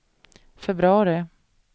februari